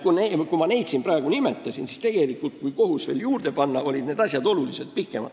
Ja kui siin nimetatud näidetele kohus veel juurde panna, siis olid need asjad oluliselt pikemad.